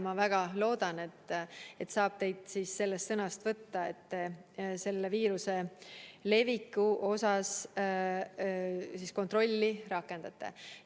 Ma väga loodan, et saab teid sellest sõnast võtta, et viiruse leviku üle kontrolli rakendate.